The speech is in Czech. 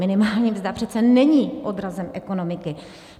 Minimální mzda přece není odrazem ekonomiky.